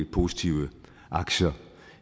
positive aktier